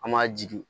An m'a jigi